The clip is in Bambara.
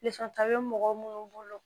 ta be mɔgɔ munnu bolo